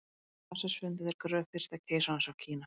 í stað vatnsins fundu þeir gröf fyrsta keisarans af kína